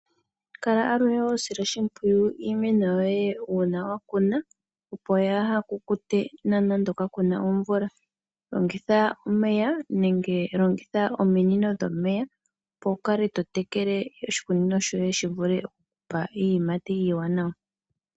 Kala aluhe hosile oshimpwiyu iimeno yoye uuna wakuma opo kayi kukute nande kakuna omvula. Longitha ominino dhomeya opo wukale tote kele oshikunino shoye shivule okukupa iiyimati iiwanawa.